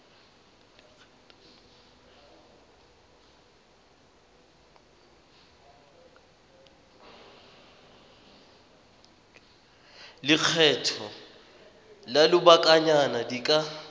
lekgetho la lobakanyana di ka